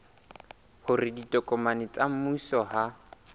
hore ditokomane tsa mmuso ha